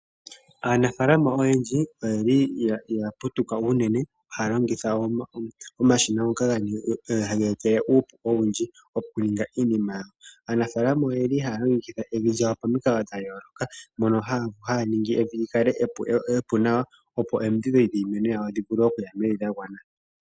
Aanafaalama oyendji oya putuka haya longitha omashina ngoka haga etelele uupu owundji okuninga iinima yawo. Aanafaalama ohaya longekidha evi lyawo pamikalo dha yooloka mono haya ningi evi li kale epu nawa, opo omidhi dhomiti dhi vule okuya mevi dha gwana.